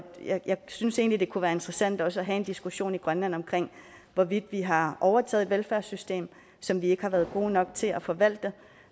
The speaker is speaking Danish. synes egentlig det kunne være interessant at have en diskussion i grønland om hvorvidt vi har overtaget et velfærdssystem som vi ikke har været gode nok til at forvalte